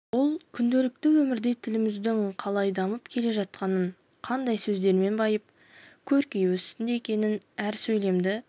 ол күнделікті өмірде тіліміздің қалай дамып келе жатқанын қандай сөздермен байып көркею үстінде екенін әр сөйлемді